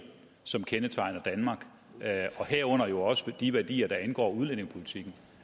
som kendetegner danmark og herunder jo også de værdier der angår udlændingepolitikken